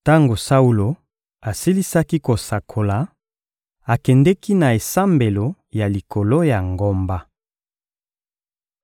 Tango Saulo asilisaki kosakola, akendeki na esambelo ya likolo ya ngomba.